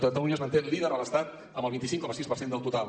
catalunya es manté líder a l’estat amb el vint cinc coma sis per cent del total